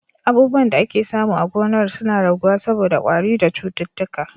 Abubuwan da ake samu a gonar suna raguwa saboda kwari da cututtuka.